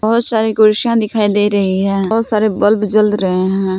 बहोत सारी कुर्सियां दिखाई दे रही हैं बहोत सारे बल्ब जल रहे हैं।